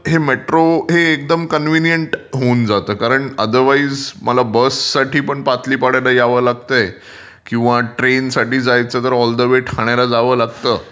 हे मेट्रो हे एकदम कन्व्हिनियंट होऊन जाते कारण अदरवाईज मला बस साठी पण पाटली पाड्याला यावं लागतंय किंवा ट्रेन साठी जायचं तर ऑल द वे ठाण्याला जावं लागतं.